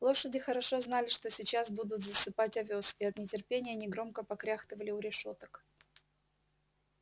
лошади хорошо знали что сейчас будут засыпать овёс и от нетерпения негромко покряхтывали у решёток